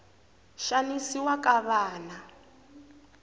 xanisiwa ka vana